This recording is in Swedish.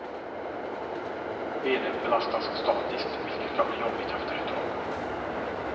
Benen belastas statiskt, vilket kan bli jobbigt efter ett tag.